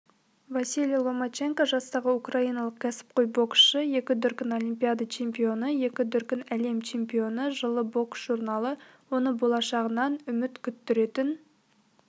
василий ломаченко жастағы украиналық кәсіпқой боксшы екі дүркін олимпиада чемпионы екі дүркін әлем чемпионы жылы бокс журналы оны болашағынан үміт күттіретін